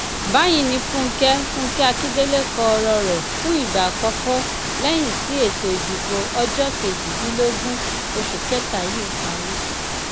báyìí ni fúnkẹ fúnkẹ akíndélé kọ ọrọ rẹ fún ìgbà àkọkọ lẹyìn tí ètò ìdìbò ọjọ kejìdínlógún oṣù kẹta yìí parí